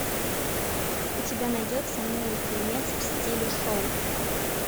у тебя найдется милый фильмец в стиле шоу